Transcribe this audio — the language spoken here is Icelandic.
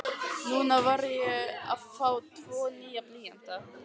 Núna var ég að fá tvo nýja blýanta.